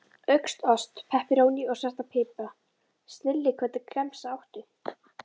Auka ost, pepperóní og svartan pipar, snilli Hvernig gemsa áttu?